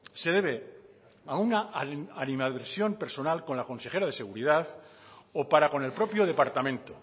se debe a una animadversión personal con la consejera de seguridad o para con el propio departamento